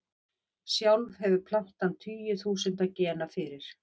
Sjálf hefur plantan tugi þúsunda gena fyrir.